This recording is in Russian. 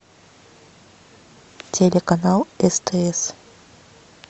телеканал стс